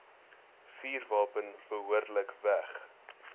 vuurwapen behoorlik weg